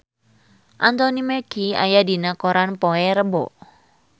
Anthony Mackie aya dina koran poe Rebo